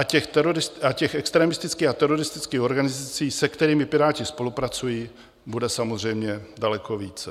A těch extremistických a teroristických organizací, se kterými Piráti spolupracují, bude samozřejmě daleko více.